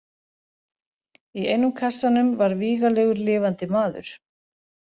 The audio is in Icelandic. Í einum kassanum var vígalegur lifandi maður.